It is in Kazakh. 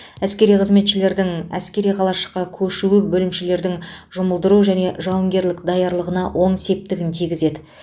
әскери қызметшілердің әскери қалашыққа көшуі бөлімшелердің жұмылдыру және жауынгерлік даярлығына оң септігін тигізеді